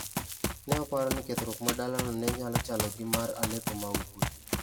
Ne oparo ni kethruok mar dalano ne nyalo chalo gi mar Aleppo ma Ugwe.